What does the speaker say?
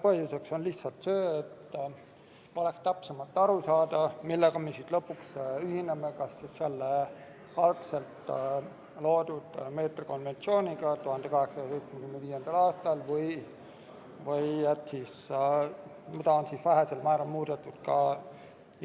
Põhjuseks on lihtsalt see, et oleks täpsemalt aru saada, millega me siis ikkagi ühineme, kas selle algselt, 1875. aastal koostatud meetrikonventsiooniga või sellega, mida on vähesel määral